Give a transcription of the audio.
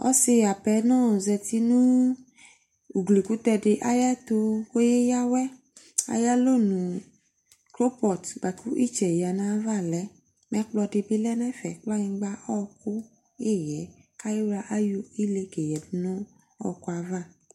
Ɔse apenɔ zati no ugli kutɛ de ayɛto ko ke yia awɛ Ayalɔnu kropɔt boa ko etsɛ yia nayava lɛ Ɛkplɔ de be lɛ nefɛ, kplanyingba, ɔku, eyɛ, kafla aye ile ke yadu no ɔkuava